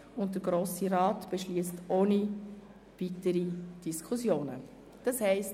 Daraufhin beschliesst der Grosse Rat jedoch, ohne dass eine weitere Diskussion stattfindet.